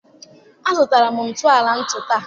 Azụtara m ntọala ntu taa.